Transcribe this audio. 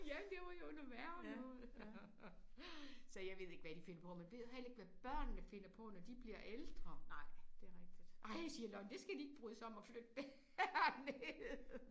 Ja men det var jo noget værre noget. Så jeg ved ikke hvad de finder på men jeg ved heller ikke hvad børnene finder på når de bliver ældre ej siger Lonnie det skal de ikke bryde sig om at flytte derned